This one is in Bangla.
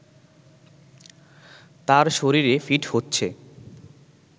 তার শরীরে ফিট হচ্ছে